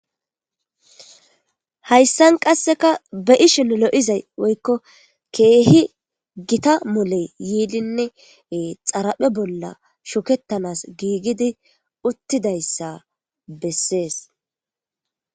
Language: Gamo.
Hayssan qasseka be ishin lo7izay woykko keehi gita moley yiilinne xaraphe bolla shukettanas giigidi uttidayssa bessees